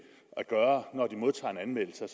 at gøre når de modtager en anmeldelse